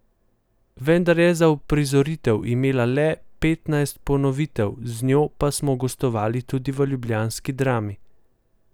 Vendar je uprizoritev imela le petnajst ponovitev, z njo pa smo gostovali tudi v ljubljanski Drami.